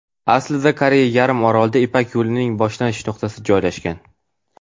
Aslida Koreya yarim orolida Ipak yo‘lining boshlanish nuqtasi joylashgan.